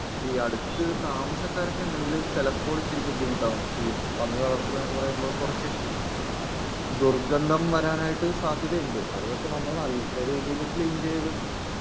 ഈ അടുത്ത് താമസക്കാരൊക്കെ ഉണ്ടെങ്കിൽ ചിലപ്പോൾ ഇത്തിരി ബുദ്ധിമുട്ടാകും.ഈ പന്നി വളർത്തൽ എന്നൊക്കെ പറയുമ്പോൾ കുറച്ച് ദുർഗന്ധം വരാനൊക്കെ സാധ്യതയുണ്ട്.അത് പക്ഷെ നമ്മള് നല്ല രീതിയിൽ ക്ലീൻ ചെയ്ത്